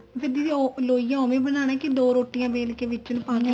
ਜੇ ਦੀਦੀ ਉਹ ਲੋਈਆ ਉਵੇ ਬਨਾਣਾ ਕੇ ਦੋ ਰੋਟੀਆਂ ਵੇਲ ਕੇ ਵਿੱਚ ਨੂੰ ਪਾਨੇ ਆ